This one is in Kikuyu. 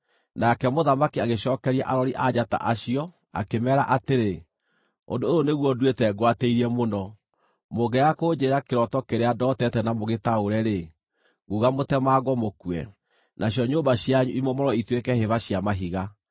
Nake mũthamaki agĩcookeria arori a njata acio, akĩmeera atĩrĩ, “Ũndũ ũyũ nĩguo nduĩte ngwatĩirie mũno: Mũngĩaga kũnjĩĩra kĩroto kĩrĩa ndootete na mũgĩtaũre-rĩ, nguuga mũtemangwo mũkue, nacio nyũmba cianyu imomorwo ituĩke hĩba cia mahiga.